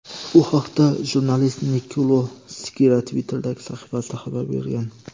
Bu haqda jurnalist Nikolo Skira Twitter’dagi sahifasida xabar bergan.